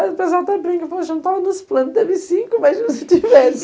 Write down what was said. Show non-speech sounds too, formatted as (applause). Aí o pessoal até brinca, poxa, não estava nos planos, teve cinco, imagina se tivesse. (laughs)